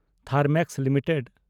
Thermax limited